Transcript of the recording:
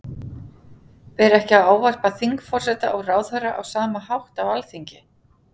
Ber ekki að ávarpa þingforseta og ráðherra á sama hátt á Alþingi?